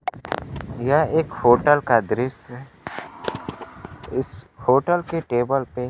यह एक होटल का दृश्य है इस होटल के टेबल पे--